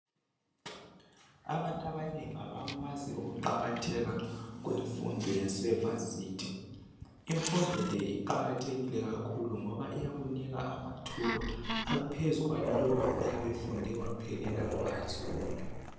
Abantu abanengi abakwazi ukuqakatheka kwemfundo yasevasithi imfundo le iqakathekile kakhulu ngoba iyakunika amathuba aphezulu kwalowo oyabe wfunde waphelela eHigh School.